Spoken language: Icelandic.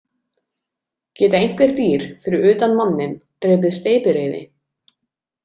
Geta einhver dýr, fyrir utan manninn, drepið steypireyði?